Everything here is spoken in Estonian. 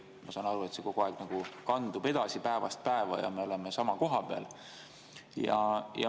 Ma saan aru, et see kogu aeg nagu kandub edasi päevast päeva ja me oleme sama koha peal.